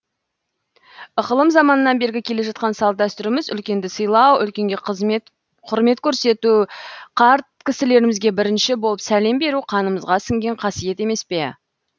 ықылым заманнан бергі келе жатқан салт дәстүріміз үлкенді сыйлау үлкенге құрмет көрсету қарт кісілерімізге бірінші болып сәлем беру қанымызға сіңген қасиет емес пе